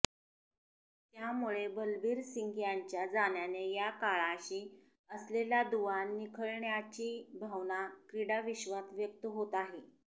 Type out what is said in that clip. त्यामुळे बलबीर सिंग यांच्या जाण्याने या काळाशी असलेला दुवा निखळल्याची भावना क्रीडाविश्वात व्यक्त होत आहे